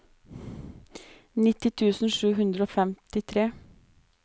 nitti tusen sju hundre og femtitre